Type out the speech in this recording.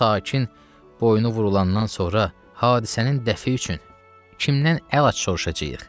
Bu sakin boynu vurulandan sonra hadisənin dəfi üçün kimdən əlac soruşacağıq?